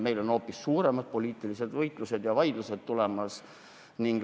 Meil on hoopis suuremad poliitilised võitlused ja vaidlused tulemas.